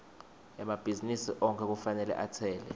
emabhizinisi onkhe kufanele atsele